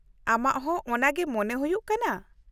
ᱟᱢᱟᱜ ᱦᱚᱸ ᱚᱱᱟᱜᱮ ᱢᱚᱱᱮ ᱦᱩᱭᱩᱜ ᱠᱟᱱᱟ ?